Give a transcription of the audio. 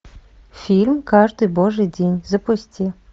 фильм каждый божий день запусти